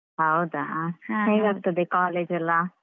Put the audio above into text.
ಹೌದಾ ಹೇಗಾಗ್ತದೆ college ಎಲ್ಲಾ.